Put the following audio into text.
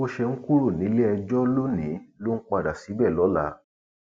bó ṣe ń kúrò níléẹjọ lónìí ló ń padà síbẹ lọla